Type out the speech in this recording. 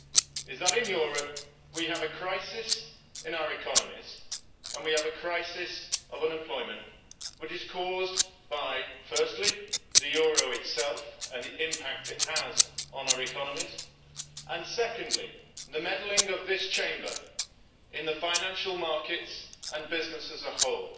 It is that in Europe we have a crisis in our economies and we have a crisis of unemployment which is caused, firstly, by the euro itself and the impact it has on our economies and, secondly, the meddling of this Chamber in the financial markets and business as a whole.